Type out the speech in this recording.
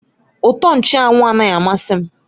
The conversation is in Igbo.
Utọ nchụ́anwu anaghị amasị m